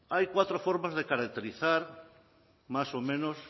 hay cuatro formas de caracterizar más o menos